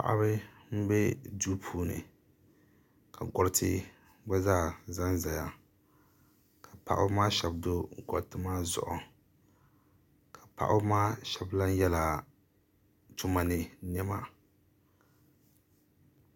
Paɣiba m-be duu puuni ka gɔriti gba zaa zanzaya ka paɣiba maa shɛba do gɔriti maa zuɣu ka paɣiba maa shɛba lan yela tuma ni nɛma.